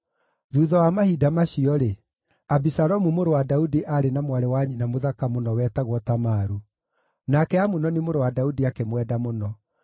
Thuutha wa mahinda macio-rĩ, Abisalomu mũrũ wa Daudi aarĩ na mwarĩ wa nyina mũthaka mũno wetagwo Tamaru, nake Amunoni mũrũ wa Daudi akĩmwenda mũno.